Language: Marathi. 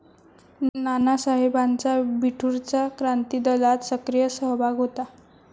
नानासाहेबांचा बिठूरचा क्रांतिदलात सक्रिय सहभाग होता.